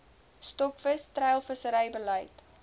stokvis treilvissery beleid